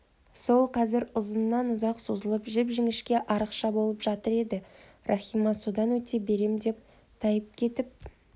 сол қазір ұзыннан-ұзақ созылып жіп-жіңішке арықша болып жатыр еді рахима содан өте берем деп тайып кетіп